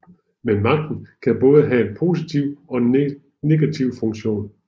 Men magten kan både have en positiv og negativ funktion